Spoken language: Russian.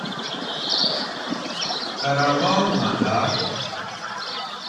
каравал нагар